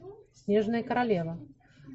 снежная королева